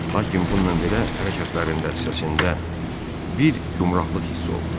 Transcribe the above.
Lakin bununla belə hərəkətlərində, səsində bir gümləqlıq hissi olunur.